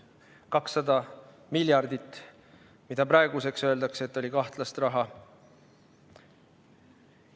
200 miljardit, nagu praegu öeldakse, oli kahtlast raha.